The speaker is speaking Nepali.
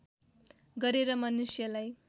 गरेर मनुष्यलाई